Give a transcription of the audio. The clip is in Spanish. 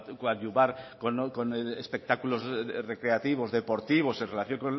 coadyuvar con espectáculos recreativos deportivos en relación